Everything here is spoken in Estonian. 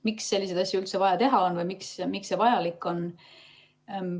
Miks sellist asja üldse vaja teha on või miks see vajalik on?